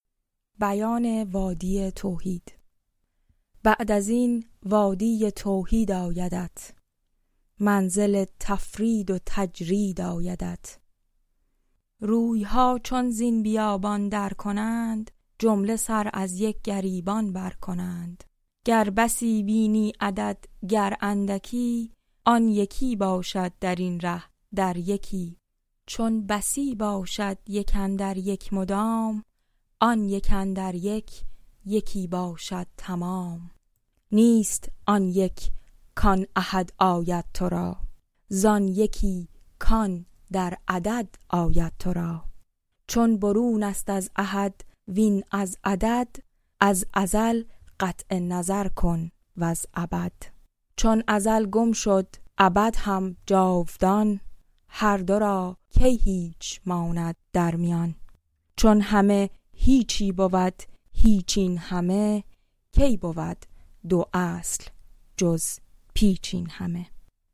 بعد از این وادی توحید آیدت منزل تفرید و تجرید آیدت رویها چون زین بیابان درکنند جمله سر از یک گریبان برکنند گر بسی بینی عدد گر اندکی آن یکی باشد درین ره در یکی چون بسی باشد یک اندر یک مدام آن یک اندر یک یکی باشد تمام نیست آن یک کان احد آید ترا زان یکی کان در عدد آید ترا چون برونست از احد وین از عدد از ازل قطع نظر کن وز ابد چون ازل گم شد ابد هم جاودان هر دو را کی هیچ ماند در میان چون همه هیچی بود هیچ این همه کی بود دو اصل جز پیچ این همه